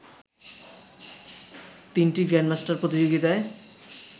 তিনটি গ্র্যান্ডমাস্টার প্রতিযোগিতায়